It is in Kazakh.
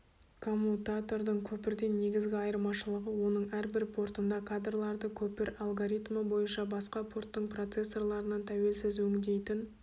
коммутатордың көпірден негізгі айырмашылығы оның әрбір портында кадрларды көпір алгоритмі бойынша басқа порттың процессорларынан тәуелсіз өңдейтін